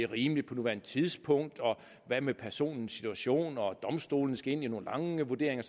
rimeligt på nuværende tidspunkt hvad personens situation var og at domstolene skulle ind i nogle lange vurderinger